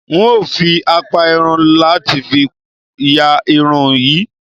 N óo fi àpá irun láti fi ya irun yín